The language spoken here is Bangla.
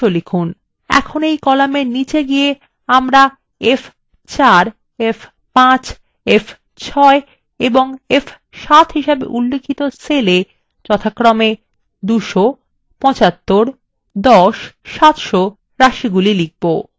এখন এই কলামের নিচে গিয়ে আমরা f4 f5 f6 এবং f7হিসাবে উল্লিখিত cellswe যথাক্রমে 200 75 10 এবং 700 রাশি লিখব